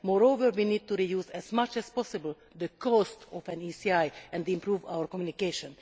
Moreover, we need to reduce as much as possible the cost of an ECI and improve our communication.